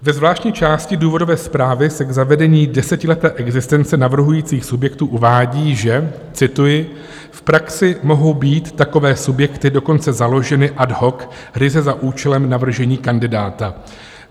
Ve zvláštní části důvodové zprávy se k zavedení desetileté existence navrhujících subjektů uvádí, že - cituji: "V praxi mohou být takové subjekty dokonce založeny ad hoc ryze za účelem navržení kandidáta.